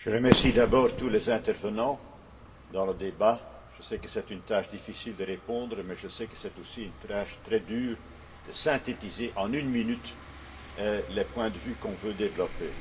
Monsieur le Président, je remercie d'abord tous les intervenants dans le débat. Je sais que c'est une tâche difficile de répondre, mais je sais que c'est aussi une tâche très dure de synthétiser, en une minute, les points de vue que l'on veut développer.